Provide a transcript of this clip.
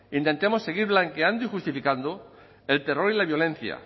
intentemos seguir blanqueando y justificando el terror y la violencia